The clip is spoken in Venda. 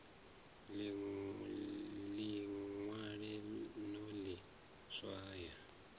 ḽi ṅwale no ḽi swaya